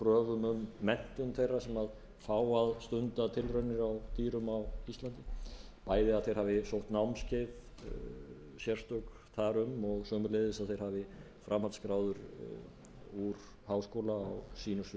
um menntun þeirra sem fá að stunda tilraunir á dýrum á íslandi bæði að þeir hafi sótt námskeið sérstök þar um og sömuleiðis að þeir hafi framhaldsgráður úr háskóla á sínu sviði er